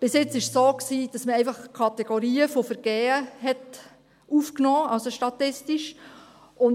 Bisher war es so, dass man statistisch einfach Kategorien von Vergehen aufnahm.